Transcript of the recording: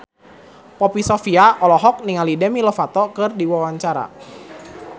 Poppy Sovia olohok ningali Demi Lovato keur diwawancara